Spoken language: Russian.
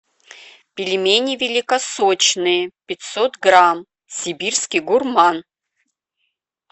пельмени великосочные пятьсот грамм сибирский гурман